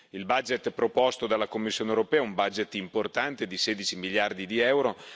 Il budget proposto dalla Commissione europea è un budget importante di 16 miliardi di euro.